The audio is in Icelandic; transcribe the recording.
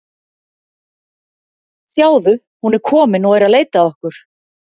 Sjáðu, hún er komin og er að leita að okkur.